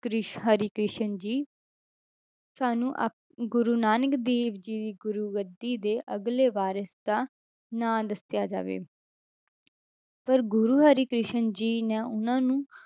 ਕ੍ਰਿਸ਼~ ਹਰਿਕ੍ਰਿਸ਼ਨ ਜੀ ਸਾਨੂੰ ਆ~ ਗੁਰੂ ਨਾਨਕ ਦੇਵ ਜੀ ਦੀ ਗੁਰੂ ਗੱਦੀ ਦੇ ਅਗਲੇ ਵਾਰਿਸ਼ ਦਾ ਨਾਂ ਦੱਸਿਆ ਜਾਵੇ ਪਰ ਗੁਰੂ ਹਰਿਕ੍ਰਿਸ਼ਨ ਜੀ ਨੇ ਉਹਨਾਂ ਨੂੰ,